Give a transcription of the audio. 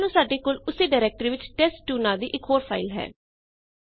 ਮੰਨ ਲਓ ਸਾਡੇ ਕੋਲ ਉਸੇ ਡਾਇਰੈਕਟਰੀ ਵਿੱਚ ਟੈਸਟ2 ਨਾਂ ਦੀ ਇਕ ਹੋਰ ਫਾਈਲ ਹੈ